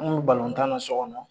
An kun bi tan na so kɔnɔ